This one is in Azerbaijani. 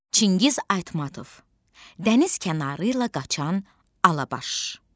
Çingiz Aytmatov, Dəniz kənarı ilə qaçan Alabaş.